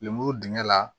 Lemuru dingɛ la